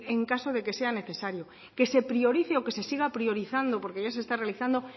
en caso de que sea necesario que se priorice o que se siga priorizando porque ya se está realizando